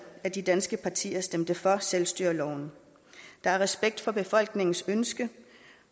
af de danske partier stemte for selvstyreloven der er respekt for befolkningens ønske